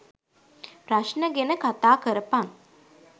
ප්‍රශ්ණ ගෙන කතා කරපන්.